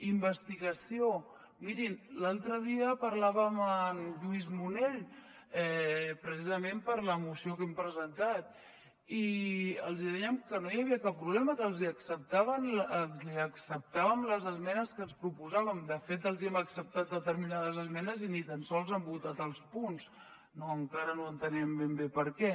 investigació mirin l’altre dia parlàvem amb en lluís monell precisament per la moció que hem presentat i els dèiem que no hi havia cap problema que li acceptàvem les esmenes que ens proposaven de fet els hem acceptat determinades esmenes i ni tan sols hi han votat els punts encara no entenem ben bé per què